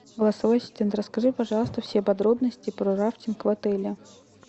голосовой ассистент расскажи пожалуйста все подробности про рафтинг в отеле